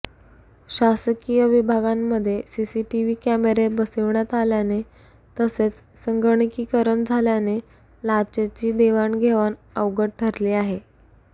शासकीय विभागांमध्ये सीसीटीव्ही कॅमेरे बसविण्यात आल्याने तसेच संगणकीकरण झाल्याने लाचेची देवाणघेवाण अवघड ठरली आहे